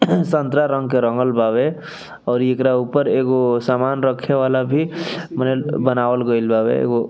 संतरा रंग के रंगल बावे और एकरा ऊपर एगो सामान रखे वाला भी मने बनावल गेल बावे एगो --